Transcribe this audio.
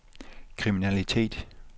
kriminalitet